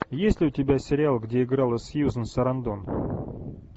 есть ли у тебя сериал где играла сьюзан сарандон